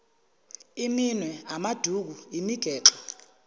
iminwe amaduku imigexo